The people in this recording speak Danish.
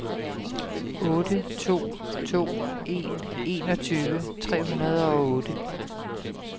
otte to to en enogtyve tre hundrede og otte